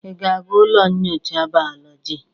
Ị ga-aga ụlọ nnyocha bayolọjị?